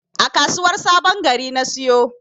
A kasuwar sabon Gari na siyo.